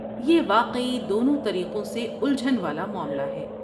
یہ واقعی دونوں طریقوں سے الجھن والا معاملہ ہے۔